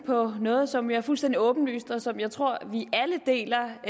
på noget som er fuldstændig åbenlyst og som jeg tror vi alle deler